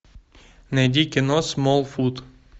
найди кино смолфут